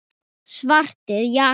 Svartir jakkar.